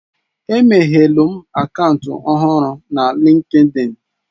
Emeghelum akaụntụ ọhụrụ na Linkidin.